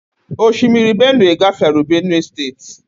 Osimiri Benue gafere Benue steeti.